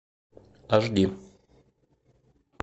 аш ди